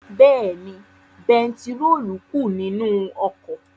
Bẹ́ẹ̀ni, bẹntiróòlù kù nínú ọkọ̀.